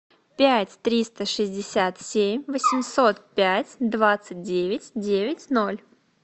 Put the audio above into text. пять триста шестьдесят семь восемьсот пять двадцать девять девять ноль